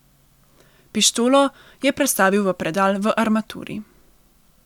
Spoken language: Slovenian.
Pištolo je prestavil v predal v armaturi.